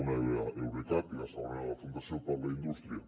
una era eurecat i la segona era la fundació per la indústria